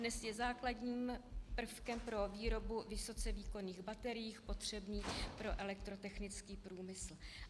Dnes je základním prvkem pro výrobu vysoce výkonných baterií potřebných pro elektrotechnický průmysl.